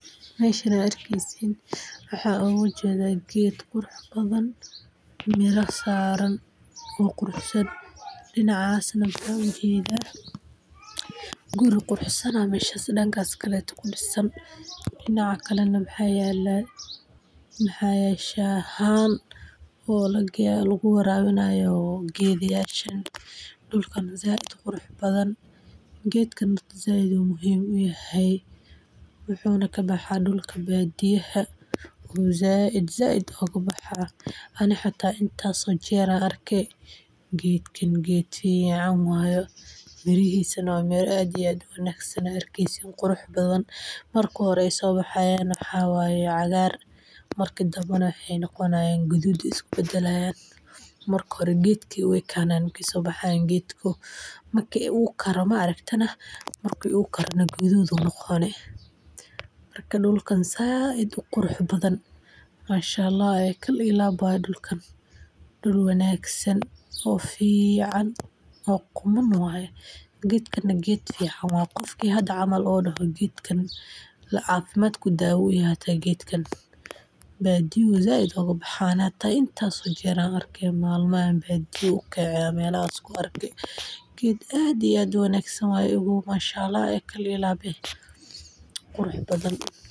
Meeshan aad arkeysin waxaan ujeeda geed qurux san oo mira saaran danka kale guri quruxsan ayaan arki haaya waxaa yaala Tangi geedkan badiyaha ayuu kabaxaaa waa geed quruxsan geedkan macaan waye miraha cagaar waye marka hore kadib gaduud ayeey noqonayaan waa geed cafimaad leh dulkan dul qurxoon waye geed qurux badan oo kal iyo laab eh waye badiyaha ayuu kabaxaaa.